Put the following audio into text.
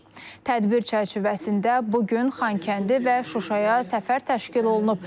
Tədbir çərçivəsində bu gün Xankəndi və Şuşaya səfər təşkil olunub.